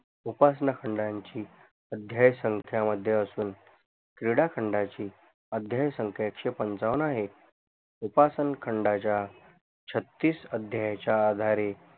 उपासना खंडाची अध्यायसंख्यामध्ये असून क्रीडाखंडाची अध्यायसंख्या एकशे पंचावन्न आहे उपासनखंडाच्या छत्तीस अध्यायच्या आधारे